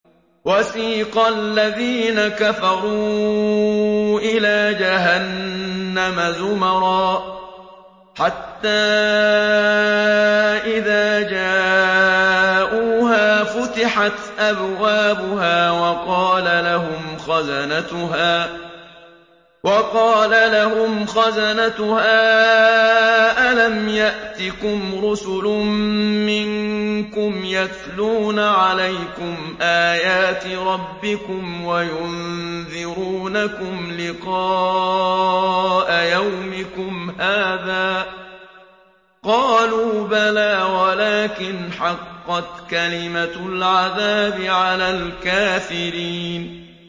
وَسِيقَ الَّذِينَ كَفَرُوا إِلَىٰ جَهَنَّمَ زُمَرًا ۖ حَتَّىٰ إِذَا جَاءُوهَا فُتِحَتْ أَبْوَابُهَا وَقَالَ لَهُمْ خَزَنَتُهَا أَلَمْ يَأْتِكُمْ رُسُلٌ مِّنكُمْ يَتْلُونَ عَلَيْكُمْ آيَاتِ رَبِّكُمْ وَيُنذِرُونَكُمْ لِقَاءَ يَوْمِكُمْ هَٰذَا ۚ قَالُوا بَلَىٰ وَلَٰكِنْ حَقَّتْ كَلِمَةُ الْعَذَابِ عَلَى الْكَافِرِينَ